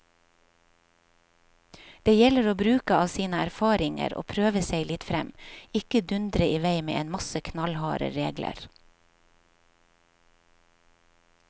Det gjelder å bruke av sine erfaringer og prøve seg litt frem, ikke dundre i vei med en masse knallharde regler.